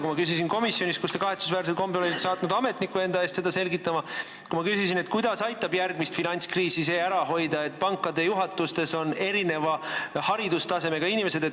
Ma küsisin komisjonis, kuhu te kahetsusväärsel kombel olite saatnud ametniku enda eest seda selgitama, et kuidas aitab järgmist finantskriisi ära hoida see, et pankade juhatustes on erineva haridustasemega inimesed.